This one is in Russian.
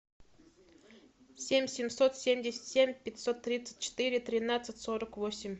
семь семьсот семьдесят семь пятьсот тридцать четыре тринадцать сорок восемь